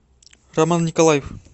роман николаев